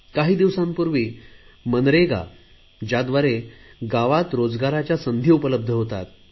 काही दिवसांपूर्वी मनरेगा ज्याद्वारे गावात रोजगाराच्या संधी उपलबध होतात